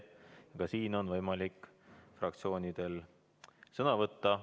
Ka siin on võimalik fraktsioonidel sõna võtta.